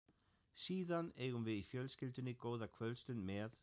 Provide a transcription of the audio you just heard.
Síðan eigum við í fjölskyldunni góða kvöldstund með